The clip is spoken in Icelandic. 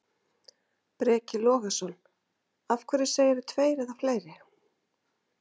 Breki Logason: Af hverju segirðu tveir eða fleiri?